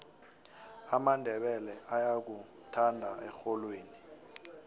amandebele ayakuthanda erholweni